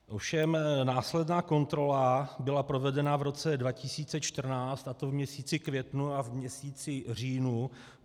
Ovšem následná kontrola byla provedena v roce 2014, a to v měsíci květnu a v měsíci říjnu.